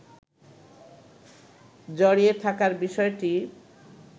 জড়িয়ে থাকার বিষয়টি